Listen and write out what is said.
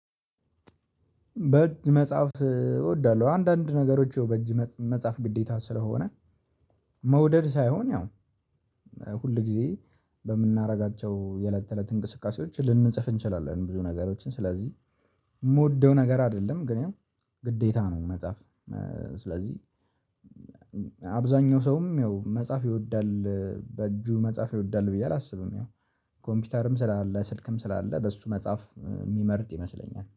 በእጅ መጽሐፍ እወዳለሁ አንዳንድ ነገሮች ይኸው በእጅ መጽሐፍ ግዴታ ስለሆነ መውደድ ሳይሆን ያው ሁል ጊዜ በምናደርጋቸው የለት ተለት እንቅስቃሴዎች ልንጽፍ እንችላለን። ብዙ ነገሮችን ስለዚህ የምወደው ነገር አይደለም ግን ያው ግዴታ ነው። መጽሐፍ ስለዚህ አብዛኛው ሰውም ያው መጽሐፍ ይወዳል በእጁ መጽሐፍ ይወዳል ብዬ አላስብም። ያው ኮምፒውተርም ስላለ ስልክም ስላለ በሱ መጽሐፍ የሚመርጥ ይመስለኛል